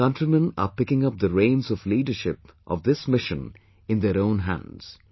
Our countrymen are picking up the reins of leadership of this mission in their own hands